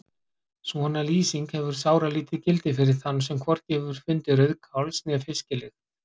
Svona lýsing hefur sáralítið gildi fyrir þann sem hvorki hefur fundið rauðkáls- né fisklykt.